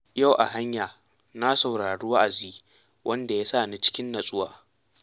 Yau a hanya, na saurari wa’azi wanda ya sa ni cikin natsuwa.